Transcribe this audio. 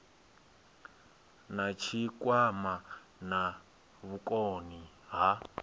na tshikwama na vhukoni ha